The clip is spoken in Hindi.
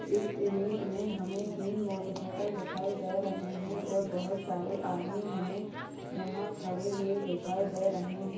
इस इमेज में हमें तीन मोटर साइकिल दिखाई दे रहे हैं और बहोत सारे आदमी हमें यहाँ खड़े हुए दिखाई दे रहे हैं।